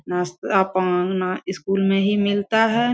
नास्ता पाना स्कूल में ही मिलता है।